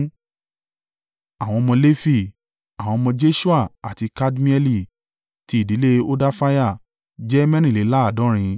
Àwọn ọmọ Lefi. Àwọn ọmọ Jeṣua àti Kadmieli (ti ìdílé Hodafiah) jẹ́ mẹ́rìnléláàádọ́rin (74).